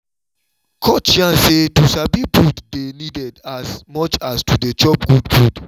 coach yarn say to sabi food dey needed as much as to dey chop good food